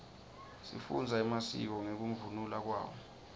sifundza emasiko ngekunluka kwawo